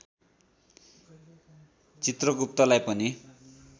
चित्रगुप्तलाई पनि